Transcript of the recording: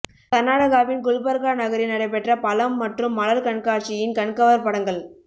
கர்நாடகாவின் குல்பர்கா நகரில் நடைபெற்ற பழம் மற்றும் மலர் கண்காட்சியின் கண்கவர் படங்கள்